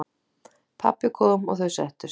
Pabbi kom og þau settust.